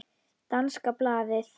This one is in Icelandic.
Danska blaðið